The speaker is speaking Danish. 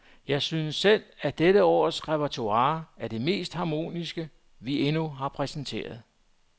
Jeg synes selv, at dette års repertoire er det mest harmoniske, vi endnu har præsenteret.